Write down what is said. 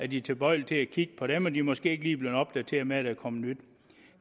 de tilbøjelige til at kigge på dem og de er måske ikke lige blevet opdateret med der er kommet nye